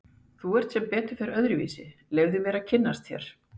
Þú ert sem betur fer öðruvísi, leyfðu mér að kynnast þér.